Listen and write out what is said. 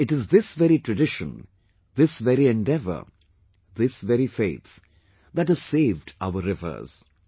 And it is this very tradition, this very endeavour, this very faith that has saved our rivers